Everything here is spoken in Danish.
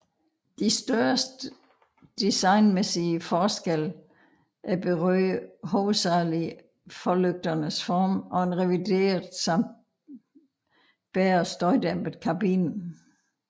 De største designmæssige forskelle berørte hovedsageligt forlygternes form og en revideret samt bedre støjdæmpet kabine